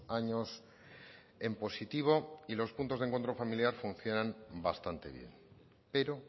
años en positivo y los puntos de encuentro familiar funcionan bastante bien pero